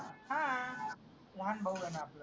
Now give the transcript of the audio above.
हा लहानभाऊ ये ना आपला